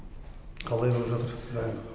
қалай болып жатыр дайындық